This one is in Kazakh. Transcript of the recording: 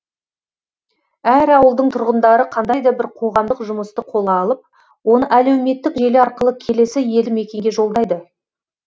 әр ауылдың тұрғындары қандай да бір қоғамдық жұмысты қолға алып оны әлеуметтік желі арқылы келесі елді мекенге жолдайды